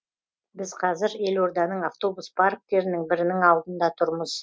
біз қазір елорданың автобус парктерінің бірінің алдында тұрмыз